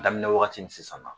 Daminɛ wagati ni sisan ma